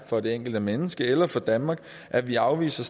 for det enkelte menneske eller for danmark at vi afviser